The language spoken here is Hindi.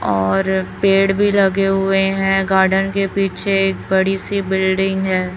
और पेड़ भी लगे हुए हैं गार्डन के पीछे एक बड़ी सी बिल्डिंग है।